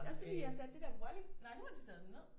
Det er også fordi jeg har sat det der volley nej nu har de taget dem ned